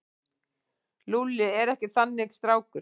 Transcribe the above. Lúlli er ekki þannig strákur.